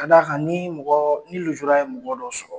Ka d'akan ni mɔgɔ ni nujura ye mɔgɔ dɔ sɔrɔ